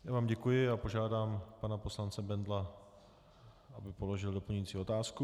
Já vám děkuji a požádám pana poslance Bendla, aby položil doplňující otázku.